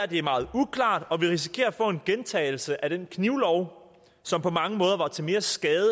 det er meget uklart og at vi risikerer at få en gentagelse af den knivlov som på mange måder var til mere skade